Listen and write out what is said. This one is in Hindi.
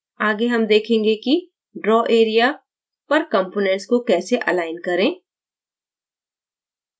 आगे हम देखेंगे कि draw area पर components को कैसे अलाइन करें